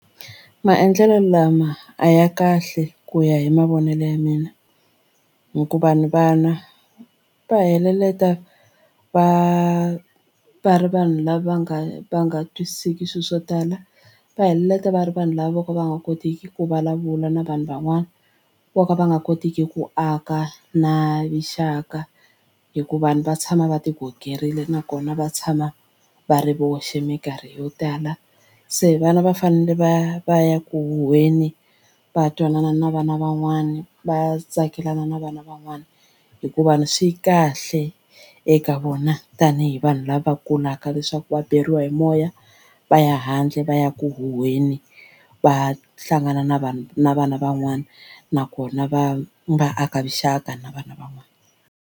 Maendlelo lama a ya kahle ku ya hi mavonelo ya mina hikuva ni vana va hetelela va va ri vanhu lava nga va nga twisiseki swilo swo tala va heleketa va ri vanhu lava vo ka va nga kotiki ku vulavula na vanhu van'wana vo ka va nga kotiki ku aka na vuxaka hi ku vanhu va tshama va ti gogerini nakona va tshama va ri voxe mikarhi yo tala. Se vana va fanele va ya va ya ku huheni va twanana na vana van'wani va tsakelana na vana van'wana hikuva swi kahle eka vona tanihi vanhu lava kulaka leswaku va beriwa hi moya va ya handle va ya ku huheni va hlangana na vanhu na vana van'wana nakona va va aka vuxaka na vana van'wana.